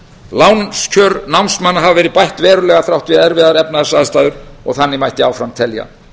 lánskjör námsmanna hafa verið bætt verulega þrátt fyrir erfiðar efnahagsaðstæður og þannig mætti áfram telja